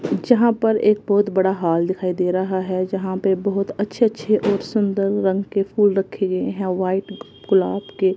जहां पर एक बहोत बड़ा हाल दिखाई दे रहा है जहां पे बहोत अच्छे अच्छे और सुंदर रंग के फूल रखे गए हैं व्हाइट ग गुलाब के।